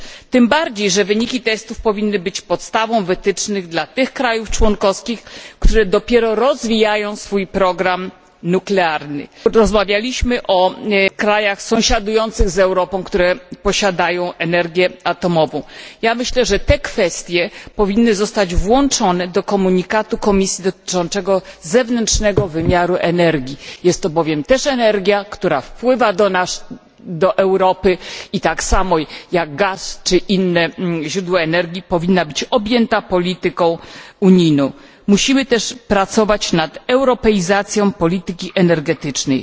Tym bardziej, że wyniki testów powinny być podstawą wytycznych dla tych krajów członkowskich, które dopiero rozwijają swój program nuklearny. Rozmawialiśmy o krajach sąsiadujących z Europą, które posiadają energię atomową. Ja myślę, że te kwestie powinny zostać włączone do komunikatu Komisji dotyczącego zewnętrznego wymiaru energii. Jest to bowiem też energia, która wpływa do nas do Europy i tak samo jak gaz, czy inne źródła energii, i powinna zostać objęta polityką unijną. Musimy też równolegle pracować nad europeizacją polityki energetycznej.